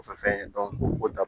O fɛn ye o ta